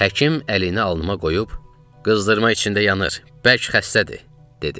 Həkim əlini alnıma qoyub, qızdırma içində yanır, bərk xəstədir, dedi.